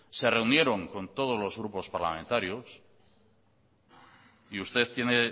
se reunieron con todos los grupos parlamentarios y usted tiene